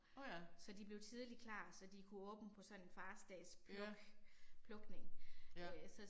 Nåh ja. Ja. Ja